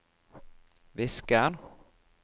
visker